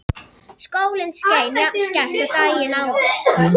Sólin skein jafn skært og daginn áður.